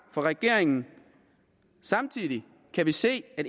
fra regeringen samtidig kan vi se at